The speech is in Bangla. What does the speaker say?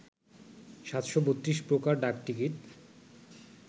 ৭৩২ প্রকার ডাকটিকিট